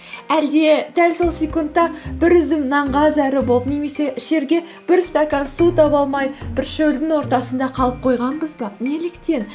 әлде дәл сол секундта бір үзім нанға зәру болып немесе ішерге бір стакан су таба алмай бір шөлдің ортасында қалып қойғанбыз ба неліктен